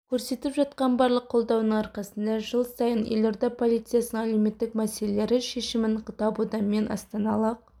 көрсетіп жатқан барлық қолдауының арқасында жыл сайын елорда полициясының әлеуметтік мәселелері шешімін табуда мен астаналық